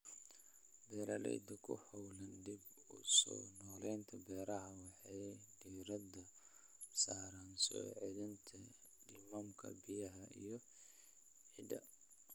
Beeralayda ku hawlan dib-u-soo-noolaynta beeraha waxay diiradda saaraan soo celinta nidaamka biyaha iyo ciidda.